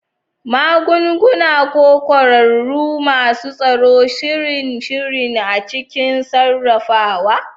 Magunguna, ko kwararru masu tsaro, sihirin sihiri a cikin sarrafawa.